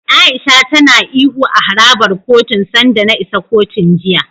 A'isha tana ihu a harabar kotun sanda na isa kotun, jiya.